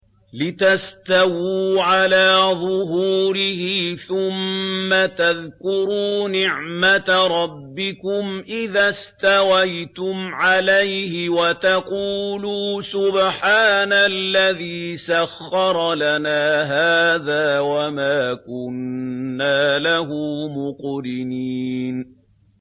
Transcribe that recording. لِتَسْتَوُوا عَلَىٰ ظُهُورِهِ ثُمَّ تَذْكُرُوا نِعْمَةَ رَبِّكُمْ إِذَا اسْتَوَيْتُمْ عَلَيْهِ وَتَقُولُوا سُبْحَانَ الَّذِي سَخَّرَ لَنَا هَٰذَا وَمَا كُنَّا لَهُ مُقْرِنِينَ